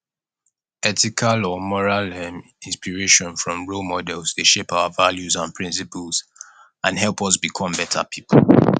ethical or moral um inspiration from role models dey shape our values and principles and help us become better people